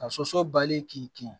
Ka soso bali k'i kin